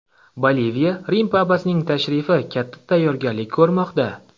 Boliviya Rim papasining tashrifi katta tayyorgarlik ko‘rmoqda.